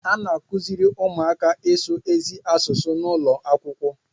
A na-akụziri ụmụaka ịsụ ezi asụsụ n'ụlọ akwụkwọ